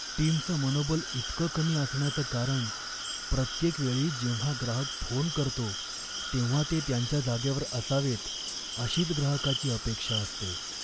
टीमचं मनोबल इतकं कमी असण्याचं कारण प्रत्येक वेळी जेव्हा ग्राहक फोन करतो तेव्हा ते त्यांच्या जागेवर असावेत अशीच ग्राहकाची अपेक्षा असते.